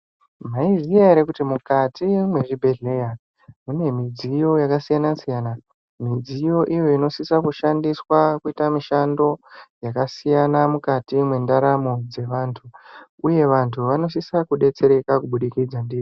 Maiziya ere kuti mukati mezvibhedhleya mune midziyo yakasiyana-siyama. Midziyo iyo inosisa kushandiswa kuita mishando yakasiyana mukati mendaramo dzevantu, uye vantu vanosisa kubetsereka kubudikidza ndiyo.